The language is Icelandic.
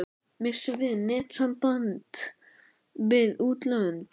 Missum við netsamband við útlönd?